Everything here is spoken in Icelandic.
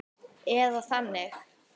Eða þannig.